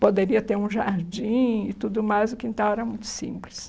Poderia ter um jardim e tudo mais, o quintal era muito simples.